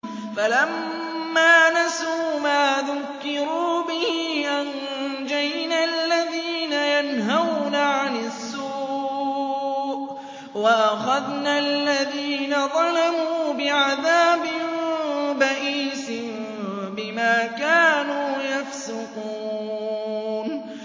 فَلَمَّا نَسُوا مَا ذُكِّرُوا بِهِ أَنجَيْنَا الَّذِينَ يَنْهَوْنَ عَنِ السُّوءِ وَأَخَذْنَا الَّذِينَ ظَلَمُوا بِعَذَابٍ بَئِيسٍ بِمَا كَانُوا يَفْسُقُونَ